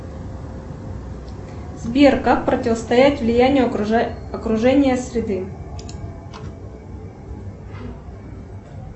сбер как противостоять влиянию окружения среды